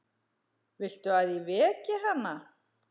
Viltu að ég veki hana?